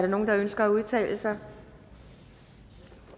nogen der ønsker at udtale sig